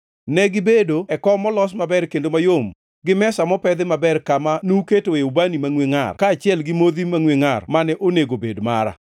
Negibedo e kom molos maber kendo mayom, gi mesa mopedhi maber kama nuketoe ubani mangʼwe ngʼar kaachiel gi modhi mangʼwe ngʼar mane onego bed mara.